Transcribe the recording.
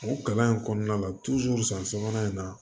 O kalan in kɔnɔna la san sabanan in na